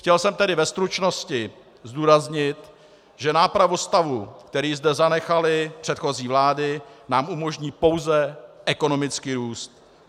Chtěl jsem tedy ve stručnosti zdůraznit, že nápravu stavu, který zde zanechaly předchozí vlády, nám umožní pouze ekonomický růst.